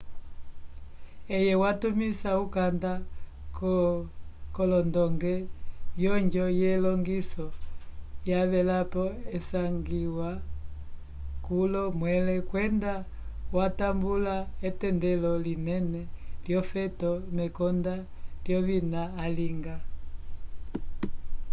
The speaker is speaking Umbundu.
eye watumisa ukanda k'olondonge vyonjo yelongiso yavelapo isangiwa kulo mwẽle kwenda watambula etendelo linene lyofeto mekonda lyovina alinga